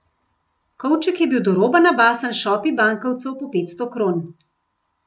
Kovček je bil do roba nabasan s šopi bankovcev po petsto kron.